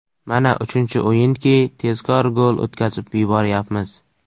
Mana uchinchi o‘yinki tezkor gol o‘tkazib yuboryapmiz.